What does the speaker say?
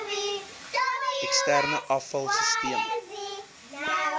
eksterne afval sisteme